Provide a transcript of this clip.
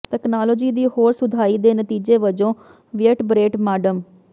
technology ਦੀ ਹੋਰ ਸੁਧਾਈ ਦੇ ਨਤੀਜੇ ਵਜੋਂ ਵਿਏਟਬਰੇਟ ਮਾਡਮ